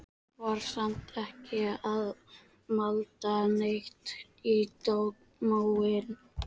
Var samt ekki að malda neitt í móinn.